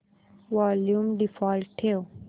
volume default ठेव